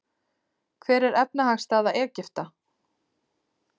Hver er efnahagsstaða Egypta?